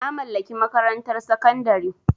Na mallaki makarantar sakandare.